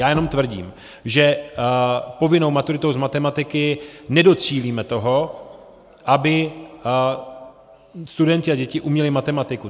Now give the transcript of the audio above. Já jenom tvrdím, že povinnou maturitou z matematiky nedocílíme toho, aby studenti a děti uměli matematiku.